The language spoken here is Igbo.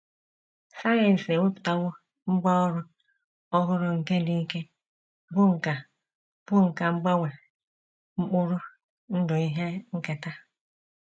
Sayensị ewepụtawo ngwá ọrụ ọhụrụ nke dị ike, bụ́ nkà bụ́ nkà mgbanwe mkpụrụ ndụ ihe nketa.